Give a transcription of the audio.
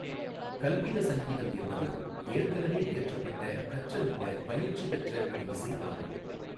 கல்பித சங்கீதம் என்பது ஏற்கனவே இயற்றப்பட்ட, கற்றறிந்த, பயிற்சி பெற்ற ஒரு இசை ஆகும்.